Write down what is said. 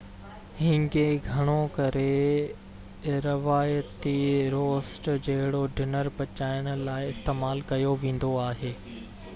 هينگي گهڻو ڪري روايتي روسٽ جهڙو ڊنر پچائڻ لاءِ استعمال ڪيو ويندو آهي